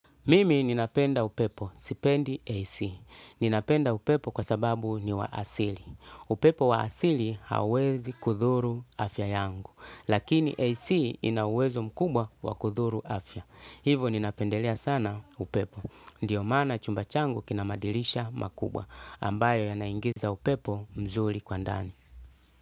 Mimi ninapenda upepo, sipendi AC. Ninapenda upepo kwa sababu ni wa asili. Upepo waasili hauwezi kudhuru afya yangu. Lakini AC inauwezo mkubwa wa kudhuru afya. Hivo ninapendelea sana upepo. Ndiyo maana chumba changu kinamadirisha makubwa ambayo yanaingiza upepo mzuri kwa ndani.